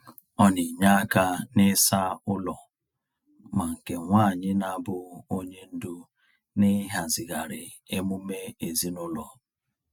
Ọ na-enye aka n’ịsa ụlọ, ma nke nwaanyị n'abụ onye ndu n’ịhazigharị emume ezinụlọ.